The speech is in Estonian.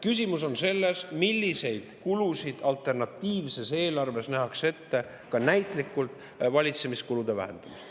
Küsimus on selles, milliseid kulusid nähakse eelarves ette, kui näitlikult valitsemiskulusid vähendatakse.